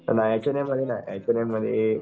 नाही H and M मध्ये नाही एच अँड एम मध्ये